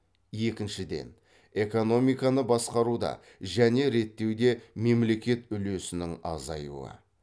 екіншіден экономиканы басқаруда және реттеуде мемлекет үлесінің азаюы